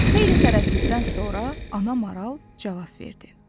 Xeyli tərəddüddən sonra ana maral cavab verdi.